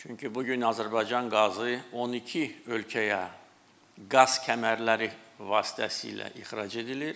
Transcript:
Çünki bu gün Azərbaycan qazı 12 ölkəyə qaz kəmərləri vasitəsilə ixrac edilir.